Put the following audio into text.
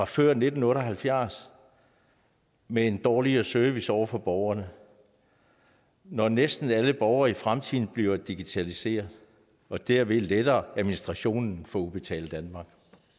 før nitten otte og halvfjerds med en dårligere service over for borgerne når næsten alle borgere i fremtiden bliver digitaliseret og derved letter administrationen for udbetaling danmark